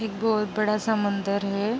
एक बहोत बड़ा सा मंदिर है।